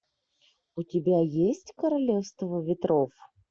у тебя есть королевство ветров